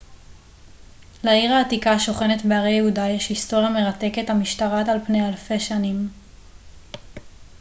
לעיר העתיקה השוכנת בהרי יהודה יש היסטוריה מרתקת המשתרעת על פני אלפי שנים